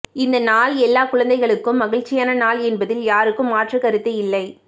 இந்த நாள் எல்லா குழந்தைகளுக்கும் மகிழ்ச்சியான நாள் என்பதில் யாருக்கும் மாற்றுக்கருத்து இல்லை